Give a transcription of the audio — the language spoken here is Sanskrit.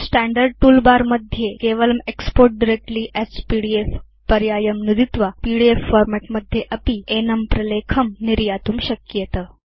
स्टैण्डर्ड् तूल बर मध्ये केवलं एक्स्पोर्ट् डायरेक्टली अस् पीडीएफ पर्यायं नुदित्वा पीडीएफ फॉर्मेट् मध्ये अपि एनं प्रलेखं निर्यातुं शक्येत